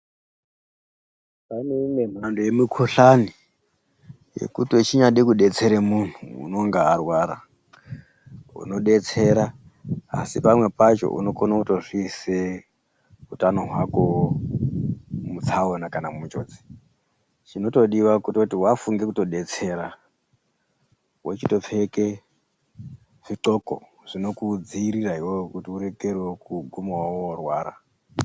Pane imwe mbhando yemukhuhlani yekuti wechinyade kudetsera muntu unonga arwara unodetsera asi pamwe pacho unokona kutozviisa mutsaona kana munjodzi chinotodiwa kutoti wafunga kudetsera wochitopfeke zviqgoko zvinokudzivirira iwewe kuti uregerewo kuguma worwara.